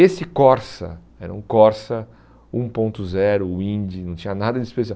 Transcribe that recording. Esse Corsa, era um Corsa um ponto zero Windy, não tinha nada de especial.